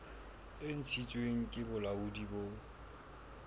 e ntshitsweng ke bolaodi bo